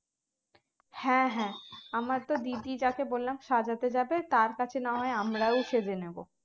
হ্যাঁ হ্যাঁ আমার তো দিদি যাকে বললাম সাজাতে যাবে তার কাছে না হয় আমরাও সেজে নেব